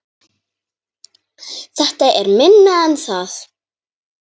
Þetta er minna en það